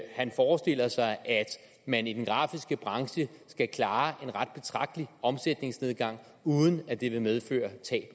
han forestiller sig at man i den grafiske branche skal klare en ret betragtelig omsætningsnedgang uden at det vil medføre tab